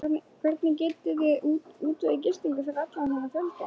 Hvernig getiði útvegað gistingu fyrir allan þennan fjölda?